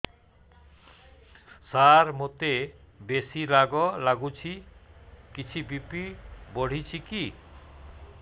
ସାର ମୋତେ ବେସି ରାଗ ଲାଗୁଚି କିଛି ବି.ପି ବଢ଼ିଚି କି